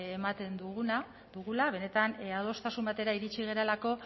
ematen dugula benetan adostasun batera iritsi garelako